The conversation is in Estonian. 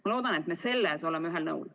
Ma loodan, et me selles oleme ühel nõul.